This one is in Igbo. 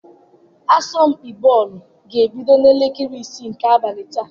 Asọmpi bọọlụ ga-ebido n'elekere isii nke abalị taa.